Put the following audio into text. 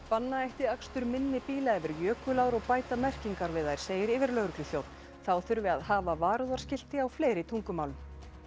banna ætti akstur minni bíla yfir jökulár og bæta merkingar við þær segir yfirlögregluþjónn þá þurfi að hafa varúðarskilti á fleiri tungumálum